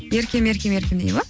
еркем еркем еркем дейді ма